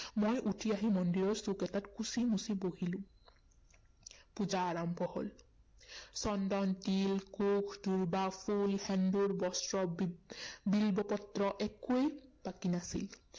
মই উঠি আহি মন্দিৰৰ চুক এটা কুচি মুচি বহিলো। পূজা আৰম্ভ হল। চন্দন, তিল, কুশ, দুৰ্বা, ফুল, সেন্দুৰ, বস্ত্ৰ, বি, বিল্বপত্ৰ একোৱেই বাকী নাছিল।